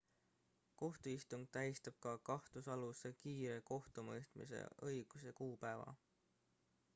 kohtuistung tähistab ka kahtlusaluse kiire kohtumõistmise õiguse kuupäeva